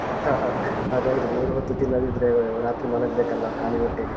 ಅದ್‍ಹೌದು. ಮೂರು ಹೊತ್ತು ತಿನ್ನದಿದ್ರೆ ರಾತ್ರಿ ಮಲಗ್ಬೇಕಲ್ಲ ಖಾಲಿ ಹೊಟ್ಟೆಗೆ.